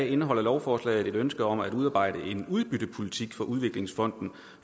indeholder lovforslaget et ønske om at udarbejde en udbyttepolitik for udviklingsfonden